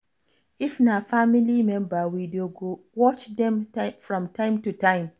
If na family member we go dey watch dem from time to time